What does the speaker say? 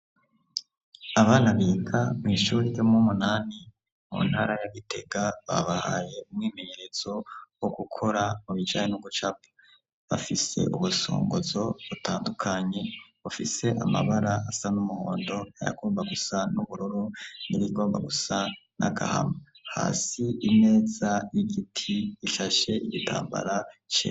Abana biga mw’ishuri ryo muwumunani mu ntara ya gitega babahaye umwimenyerezo wo gukora mubijane no gucapa. Bafise ubusungozo butandukanye bufise amabara asa n'umuhondo ayagomba gusa n'ubururu nibigomba gusa n'agahama hasi imeza y'igiti ishashe igitambara cera.